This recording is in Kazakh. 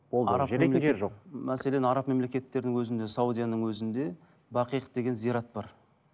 мәселен араб мемлекеттердің өзінде саудияның өзінде бақиық деген зират бар